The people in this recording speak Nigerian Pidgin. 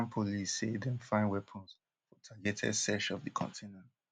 haitian police say dem find weapons for targeted search of di container